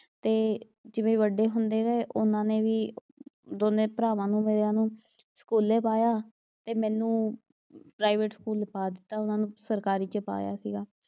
ਤੇ ਜਿਵੇਂ ਵੱਡੇ ਹੁੰਦੇ ਗਏ ਉਨ੍ਹਾਂ ਨੇ ਵੀ, ਦੋਨੇਂ ਭਰਾਵਾਂ ਨੂੰ ਮੇਰਿਆਂ ਨੂੰ ਸਕੂਲ਼ੇ ਪਾਇਆ, ਤੇ ਮੈਨੂੰ ਪ੍ਰਾਈਵੇਟ ਸਕੂਲ ਪਾ ਦਿੱਤਾ, ਉਨ੍ਹਾਂ ਨੂੰ ਸਰਕਾਰੀ ਚ ਪਾਇਆ ਸੀਗਾ।